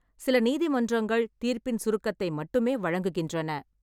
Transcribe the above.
சில நீதிமன்றங்கள் தீர்ப்பின் சுருக்கத்தை மட்டுமே வழங்குகின்றன.